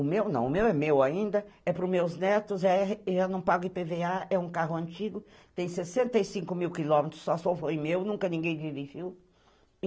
O meu não, o meu é meu ainda, é pros meus netos, eu não pago i pê vê a ,é um carro antigo, tem sessenta e cinco mil quilômetros, só foi meu, nunca ninguém dirigiu.